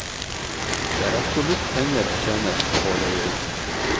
Det er absolutt penger å tjene på å leie ut.